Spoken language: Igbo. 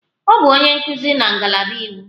Ọ bụ onye nkuzi na ngalaba iwu.